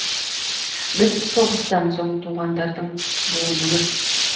біз соғыстан соң туғандардың буынымыз